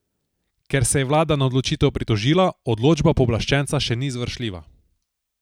Ker se je vlada na odločitev pritožila, odločba pooblaščenca še ni izvršljiva.